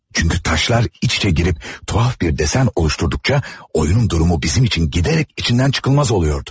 Çünki daşlar iç-içə girib, tuhaf bir desen oluşdurduqca, oyunun durumu bizim üçün gidərək içindən çıxılmaz oluyordu.